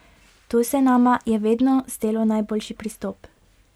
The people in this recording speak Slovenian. To se nama je vedno zdelo najboljši pristop.